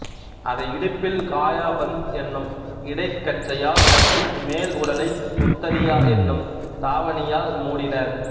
அதை இடுப்பில் காயாபந்த் என்னும் இடைக்கச்சையால் கட்டி மேல் உடலை உத்தரியா என்னும் தாவணியால் மூடினர்